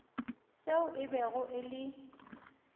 seo e bego e le